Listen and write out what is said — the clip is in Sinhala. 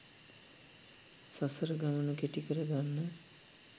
සසර ගමන කෙටි කර ගන්න